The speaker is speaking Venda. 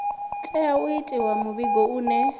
tea u itiwa muvhigo une